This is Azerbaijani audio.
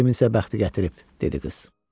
Kiminsə bəxti gətirib, dedi qız.